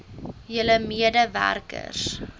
julle mede werkers